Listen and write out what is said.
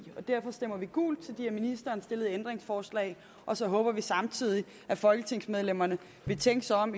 og derfor stemmer vi gult til de af ministeren stillede ændringsforslag og så håber vi samtidig at folketingsmedlemmerne vil tænke sig om